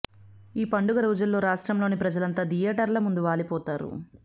ఈ పండుగ రోజుల్లో రాష్ట్రంలోని ప్రజలంతా థియేటర్ల ముందు వాలిపోతారు